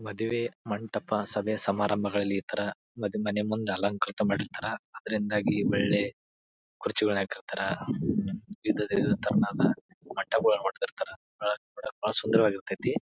ಮಾದುವೆ ಮಂಟ್ಟಪ ಸಭೆ ಸಾಬಾರಂಬಗಳ್ಲಲ್ಲಿ ಈ ತರ ಮನೆ ಮುಂದೆ ಅಲಂಕೃತ ಮಾಡಿರ್ತಾರ ಆದ್ರಿಂದಾಗಿ ಒಳ್ಳೆ ಕುರ್ಚಿಗಳು ಹಾಕಿರ್ತಾರ ಇದೆ ತರ ಮಂಟಪಗಳು ಹೊಡ್ದೀರ್ತರ ಬಹಳ ಸುಂದರವಾಗಿರ್ತತಿ.